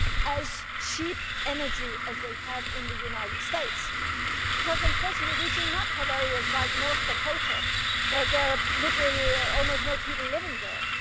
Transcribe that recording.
it will be as cheap as the energy they have in the United States because, unfortunately, we do not have areas like North Dakota where there are almost no people living